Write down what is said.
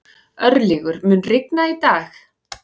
Örlygur, mun rigna í dag?